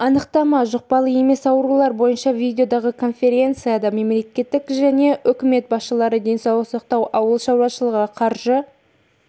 анықтама жұқпалы емес аурулар бойынша видеодағы конференцияда мемлекет және үкімет басшылары денсаулық сақтау ауыл шаруашылығы қаржы